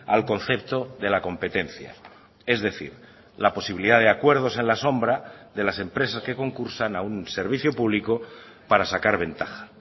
al concepto de la competencia es decir la posibilidad de acuerdos en la sombra de las empresas que concursan a un servicio público para sacar ventaja